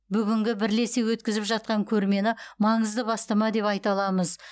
бүгінгі бірлесе өткізіп жатқан көрмені маңызды бастама деп айта аламыз